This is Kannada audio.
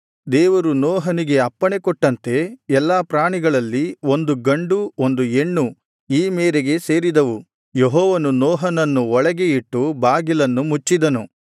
ದೇವರು ನೋಹನಿಗೆ ಅಪ್ಪಣೆ ಕೊಟ್ಟಂತೆ ಎಲ್ಲಾ ಪ್ರಾಣಿಗಳಲ್ಲಿ ಒಂದು ಗಂಡು ಒಂದು ಹೆಣ್ಣು ಈ ಮೇರೆಗೆ ಸೇರಿದವು ಯೆಹೋವನು ನೋಹನನ್ನು ಒಳಗೆ ಇಟ್ಟು ಬಾಗಿಲನ್ನು ಮುಚ್ಚಿದನು